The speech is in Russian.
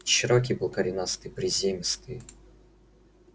чероки был коренастый приземистый